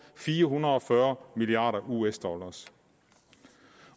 fire hundrede og fyrre milliard us dollar